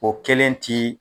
O kelen ti